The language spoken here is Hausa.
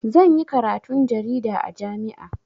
Zan yi karatun jarida a jami'a.